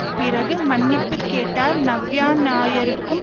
பிறகு மன்னிப்பு கேட்டார் நவ்யா நாயருக்கும்